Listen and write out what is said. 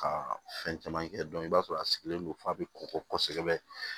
Ka fɛn caman kɛ i b'a sɔrɔ a sigilen don f'a bɛ kɔkɔsɛbɛ